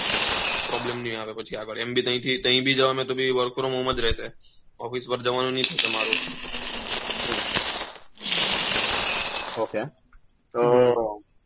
PROBLEM ની આવે પછી આગળ એમ બી ત્યાંથી કઈ બી જવાનું હોઈ તો બી WORK FROM HOME જ રહેશે OFFICE WORK જવાનું ની થશે મારુ OK તો